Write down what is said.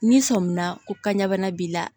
N'i sɔmina ko kanɲɛbana b'i la